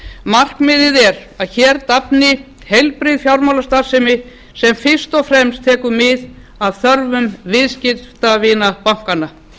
markmiðið er að hér dafni heilbrigð fjármálastarfsemi sem fyrst og fremst tekur mið af þörfum viðskiptavina bankanna